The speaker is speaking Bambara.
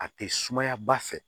A tɛ sumaya ba fɛ